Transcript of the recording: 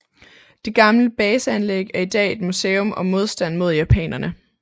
Det gamle baseanlæg er i dag et museum om modstanden mod japanerne